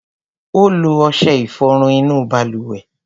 Ó lo ọṣẹ ìfọrun inú balùwẹ̀.